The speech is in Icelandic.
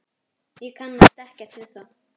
Ég kannast ekkert við þá.